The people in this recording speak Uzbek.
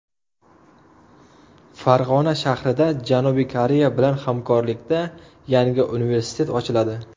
Farg‘ona shahrida Janubiy Koreya bilan hamkorlikda yangi universitet ochiladi.